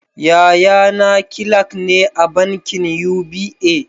Yaya na kilak ne a bankin UBA